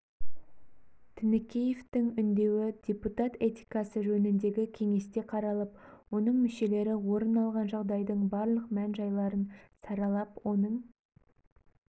тінікеевтің үндеуі депутат этикасы жөніндегі кеңесте қаралып оның мүшелері орын алған жағдайдың барлық мән-жайларын саралап оның